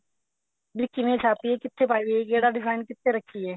ਵੀ ਕਿਵੇਂ ਛਾਪੀਏ ਕਿੱਥੇ ਪਾਈਏ ਕਿਹੜਾ design ਕਿੱਥੇ ਰੱਖੀਏ